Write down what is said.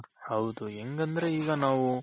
ಹೌದು ಹೆಂಗಂದ್ರೆ ಈಗ ನಾವು